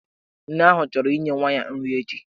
Nne ahụ chọrọ inye nwa ya nri echi.